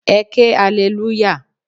Ẹ ké alelúyà!